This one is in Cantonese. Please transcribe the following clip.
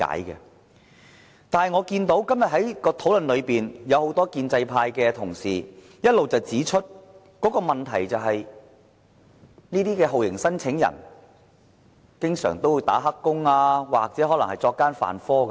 然而，在今天的討論裏，很多建制派同事一直指出，問題是這些酷刑聲請人經常"打黑工"或可能作奸犯科。